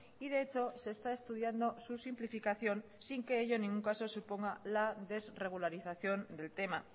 y de hechos se está estudiando su simplificación sin que ello en ningún caso suponga la desregularización del tema